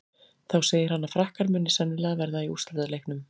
Þá segir hann að Frakkar muni sennilega verða í úrslitaleiknum.